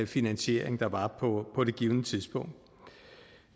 finansiering der var på det givne tidspunkt